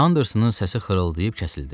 Andersonun səsi xırıldayıb kəsildi.